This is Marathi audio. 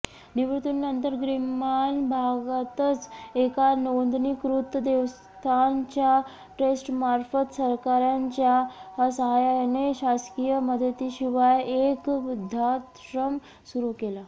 निवृत्तीनंतर ग्रामीण भागातच एका नोंदणीकृत देवस्थानच्या ट्रस्टमार्फत सहकाऱ्यांच्या साहाय्याने शासकीय मदतीशिवाय एक वृद्धाश्रम सुरू केला